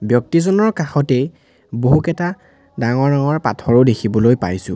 ব্যক্তিজনৰ কাষতেই বহুকেতা ডাঙৰ ডাঙৰ পথৰো দেখিবলৈ পাইছোঁ।